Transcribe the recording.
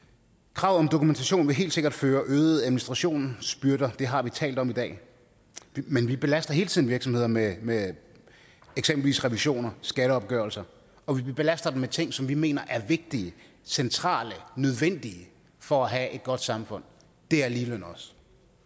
kravet om dokumentation vil helt sikkert føre øget administrationsbyrder det har vi talt om i dag men vi belaster hele tiden virksomheder med med eksempelvis revisioner skatteopgørelser og vi belaster dem med ting som vi mener er vigtige centrale nødvendige for at have godt samfund det er ligeløn også